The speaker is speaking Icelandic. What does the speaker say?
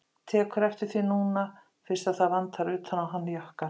Tekur eftir því núna fyrst að það vantar utan á hann jakkann.